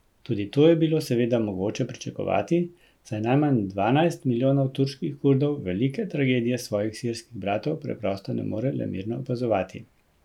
Tudi to je bilo seveda mogoče pričakovati, saj najmanj dvanajst milijonov turških Kurdov velike tragedije svojih sirskih bratov preprosto ne more le mirno opazovati.